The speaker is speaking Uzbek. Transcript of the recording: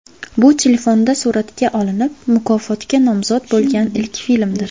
Bu telefonda suratga olinib, mukofotga nomzod bo‘lgan ilk filmdir.